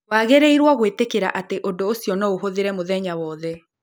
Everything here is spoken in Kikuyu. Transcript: Wagĩrĩirũo gwĩtĩkĩra atĩ ũndũ ũcio no ũhũthĩre mũthenya wothe